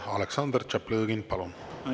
Aleksandr Tšaplõgin, palun!